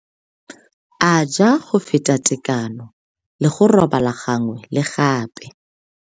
A ja go feta tekano le go robala gangwe le gape.